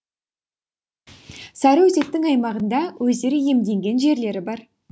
сарыөзектің аймағында өздері иемденген жерлері бар